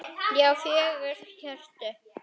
Já, fjögur HJÖRTU!